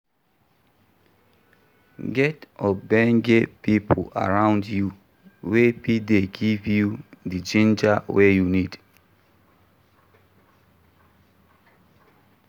Get ogboge pipo around you wey fit dey give you di ginger wey you need